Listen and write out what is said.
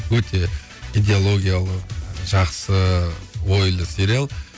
өте идеалогиялы жақсы ойлы сериал